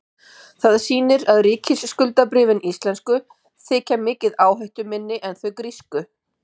Það sýnir að ríkisskuldabréfin íslensku þykja miklu áhættuminni en þau grísku.